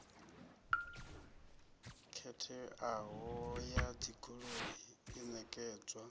khetheaho ya dzigoloi i ṋekedzwa